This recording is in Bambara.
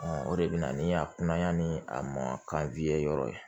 o de bɛ na ni a kunnayani a ma ka wili yɔrɔ ye